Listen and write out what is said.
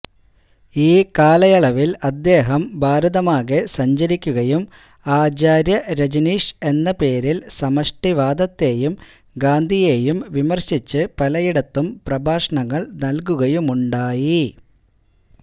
ഈ കാലയളവില് അദ്ദേഹം ഭാരതമാകെ സഞ്ചരിക്കുകയും ആചാര്യ രജനീഷ് എന്ന പേരില് സമഷ്ടിവാദത്തേയും ഗാന്ധിയേയും വിമര്ശിച്ച് പലയിടത്തും പ്രഭാഷണങ്ങള് നല്കുകയുമുണ്ടായി